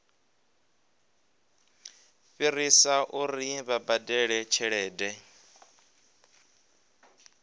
fhirisa uri vha badele tshelede